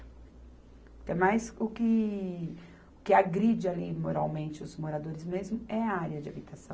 Até mais o que, o que agride ali moralmente os moradores mesmo é a área de habitação.